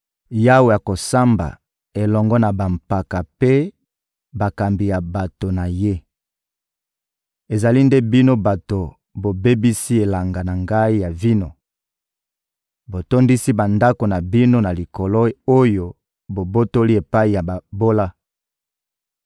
Yawe akosamba elongo na bampaka mpe bakambi ya bato na Ye: «Ezali nde bino bato bobebisi elanga na Ngai ya vino! Botondisi bandako na bino na biloko oyo bobotoli epai ya babola!